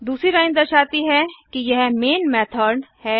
दूसरी लाइन दर्शाती है कि यह मैन methodमेन मेथड है